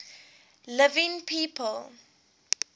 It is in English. living people